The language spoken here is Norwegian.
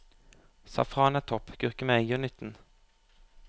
Safran er topp, gurkemeie gjør nytten.